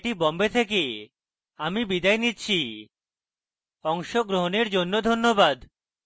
I I T Bombay থেকে আমি বিদায় নিচ্ছি অংশগ্রহণের জন্য ধন্যবাদ